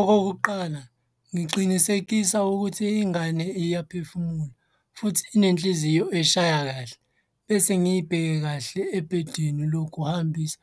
Okokuqala ngiqinisekisa ukuthi ingane iyaphefumula futhi inenhliziyo eshaya kahle. Bese ngiy'bheke kahle ebhedini lokuhambisa